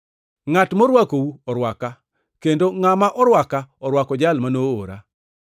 “Ngʼat morwakou orwaka, kendo ngʼama orwaka, orwako jal ma noora.